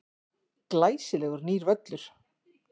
Glæsilegur nýr völlur.